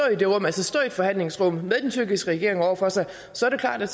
i forhandlingsrummet med den tyrkiske regering over for sig så er det klart at